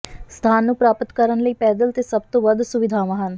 ਸਥਾਨ ਨੂੰ ਪ੍ਰਾਪਤ ਕਰਨ ਲਈ ਪੈਦਲ ਤੇ ਸਭ ਤੋਂ ਵੱਧ ਸੁਵਿਧਾਵਾਂ ਹਨ